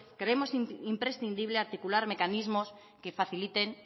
creemos imprescindible articular mecanismos que faciliten